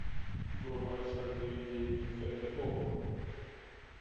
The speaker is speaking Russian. врубай шальные деньги хд окко